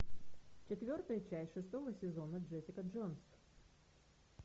четвертая часть шестого сезона джессика джонс